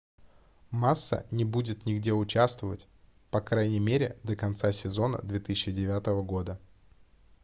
масса не будет нигде участвовать по крайней мере до конца сезона 2009 года